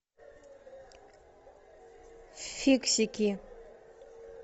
фиксики